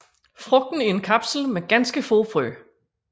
Frugten er en kapsel med ganske få frø